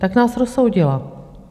Tak nás rozsoudila.